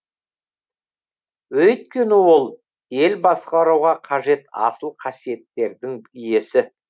өйткені ол ел басқаруға қажет асыл қасиеттердің иесі